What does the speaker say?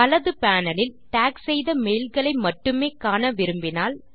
வலது பேனல் லில் டாக் செய்த மெய்ல்களை மட்டுமே காண விரும்பினால்